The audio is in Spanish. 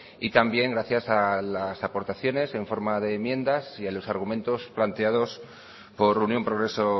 y también gracias a las aportaciones en forma de enmiendas y a los argumentos planteados por unión progreso